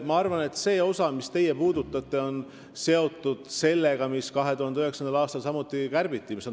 Ma arvan, et see osa, mida teie puudutasite, on seotud tasandusfondiga, mida 2009. aastal samuti kärbiti.